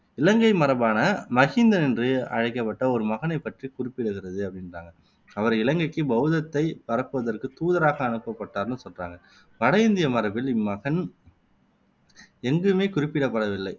இலங்கை மரபான மகிந்தன் என்று அழைக்கப்பட்ட ஒரு மகனை பற்றி குறிப்பிடுகிறது அப்படின்றாங்க அவர் இலங்கைக்கு பௌத்தத்தை பரப்புவதற்கு தூதராக அனுப்பப்பட்டார்னும் சொல்றாங்க வட இந்திய மரபில் இம்மகன் எங்குமே குறிப்பிடப்படவில்லை